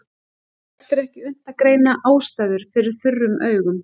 Oft er ekki unnt að greina ástæður fyrir þurrum augum.